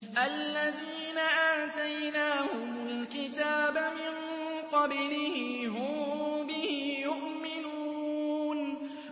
الَّذِينَ آتَيْنَاهُمُ الْكِتَابَ مِن قَبْلِهِ هُم بِهِ يُؤْمِنُونَ